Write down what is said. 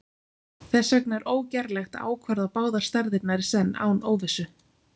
Þess vegna er ógerlegt að ákvarða báðar stærðirnar í senn án óvissu.